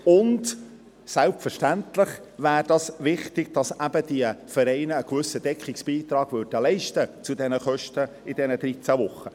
Und: Selbstverständlich wäre es wichtig, dass die Vereine in diesen 13 Wochen einen gewissen Deckungsbeitrag zu diesen Kosten leisten würden.